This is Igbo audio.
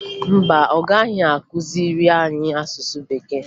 Mba, ọ gaghị akụziri anyị asụsụ Bekee